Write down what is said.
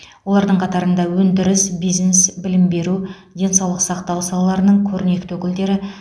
олардың қатарында өндіріс бизнес білім беру денсаулық сақтау салаларының көрнекті өкілдері